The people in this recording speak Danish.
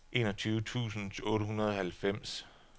enogtyve tusind otte hundrede og halvfems